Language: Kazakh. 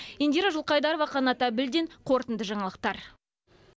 индира жылқайдарова қанат әбілдин қорытынды жаңалықтар